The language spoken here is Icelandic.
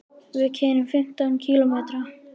Við keyrum fimmtán kílómetra.